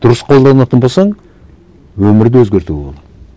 дұрыс қолданатын болсаң өмірді өзгертуге болады